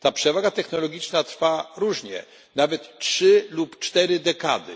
Ta przewaga technologiczna trwa różnie, nawet trzy lub cztery dekady.